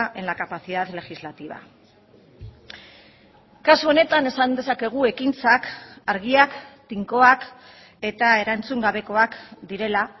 en la capacidad legislativa kasu honetan esan dezakegu ekintzak argiak tinkoak eta erantzun gabekoak direla